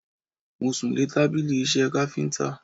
Mo sùn lé tábìlì iṣẹ́ káfíntà.